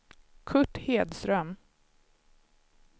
Kurt Hedström